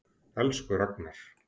Elsku Ragnar.